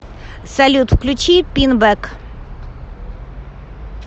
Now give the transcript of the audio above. салют включи пинбэк